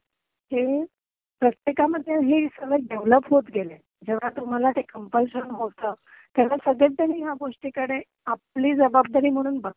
ही प्रत्येकामद्धे ही सवय डेवलप होत गेलीय. जेव्हा तुम्हाला ते कम्प्लशन होतं, तेव्हा संगळ्यांनीच या गोष्टीकडे आपली जबाबदारी म्हणून बघतात.